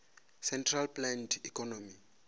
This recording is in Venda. centrally planned economy